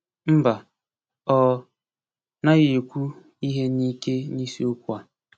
Mba; ọ naghị ekwu ihe n’ike n’isiokwu a.